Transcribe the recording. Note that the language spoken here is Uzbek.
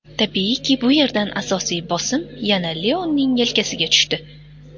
Tabiiyki, bu yerda asosiy bosim yana Leoning yelkasiga tushdi.